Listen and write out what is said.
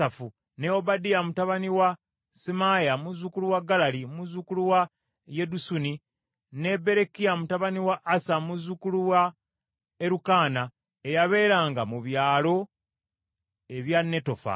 ne Obadiya mutabani wa Semaaya, muzzukulu wa Galali, muzzukulu wa Yedusuni; ne Berekiya mutabani wa Asa, muzzukulu wa Erukaana, eyabeeranga mu byalo eby’Abanetofa.